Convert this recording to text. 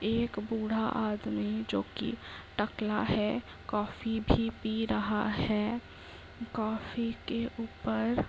एक बूढ़ा आदमी जो कि टकला है। कॉफी भी पी रहा है। कॉफी के ऊपर --